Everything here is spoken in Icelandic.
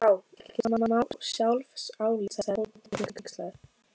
Vá, ekkert smá sjálfsálit sagði Tóti hneykslaður.